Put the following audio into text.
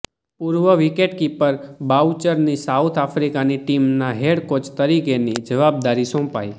પૂર્વ વિકેટકિપર બાઉચરની સાઉથ આફ્રિકાની ટીમના હેડ કોચ તરીકેની જવાબદારી સોંપાઈ